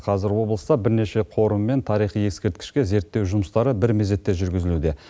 қазір облыста бірнеше қорым мен тарихи ескерткішке зерттеу жұмыстары бір мезетте жүргізілуде